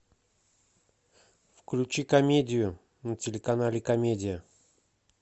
включи комедию на телеканале комедия